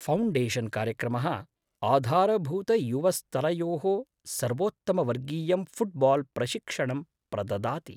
फौण्डेशन्कार्यक्रमः आधारभूतयुवस्तरयोः सर्वोत्तमवर्गीयं फुट्बाल् प्रशिक्षणं प्रददाति।